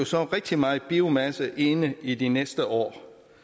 så rigtig meget biomasse inde i de næste år